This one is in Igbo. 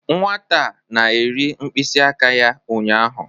Nwata a na-eri mkpịsị aka ya ụnyaahụ